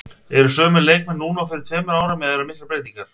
Eru sömu leikmenn núna og fyrir tveimur árum eða eru miklar breytingar?